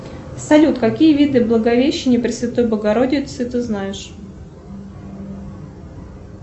салют какие виды благовещения пресвятой богородицы ты знаешь